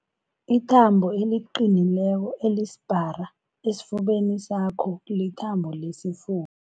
Ithambo eliqinileko elisipara esifubeni sakho lithambo lesifu